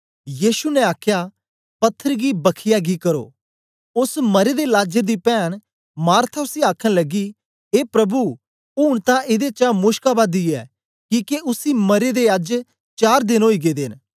यीशु ने आखया पत्थर गी बख्खीयै गी करो ओस मरे दे लाजर दी पैन्न मार्था उसी आखन लगी ए प्रभु ऊन तां एदे चा मुश्क आवा दी ऐ किके उसी मरे दे अज्ज चार देन ओई गेदे न